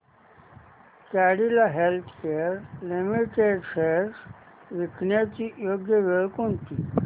Cadila healthcare limited shares विकण्याची योग्य वेळ कोणती